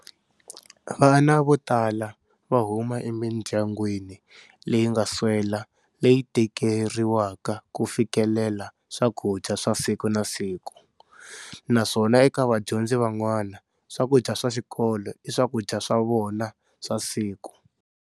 Vana vo tala va huma emindyangwini leyi nga swela leyi tikeriwaka ku fikelela swakudya swa siku na siku, naswona eka vadyondzi van'wana, swakudya swa xikolo i swakudya swa vona swa siku.